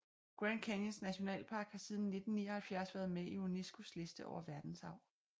Grand Canyons nationalpark har siden 1979 været med i Unescos liste over verdensarv